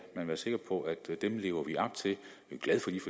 være sikker på at dem lever vi op til